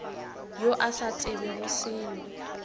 yo a sa tsebego selo